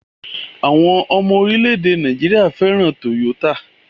Àwọn ọmọ orílẹ̀-èdè Nàìjíríà fẹ́ràn Toyota